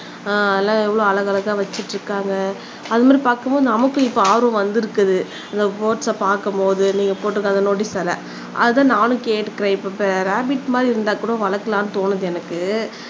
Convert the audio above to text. அதெல்லாம் எவ்வளவு அழகழகா வச்சுட்டு இருக்காங்க அதுமாதிரி பாக்கும்போது நமக்கு இப்போ ஆர்வம் வந்திருக்குது லவ் பேர்ட்ஸை பாக்கும்போது நீங்க போட்டுருக்குற நோட்டீஸ் வேற அது தான் நானும் கேட்டு இப்ப ரேபிட் மாதிரி இருந்தா கூட வளர்க்கலாம்னு தோணுது எனக்கு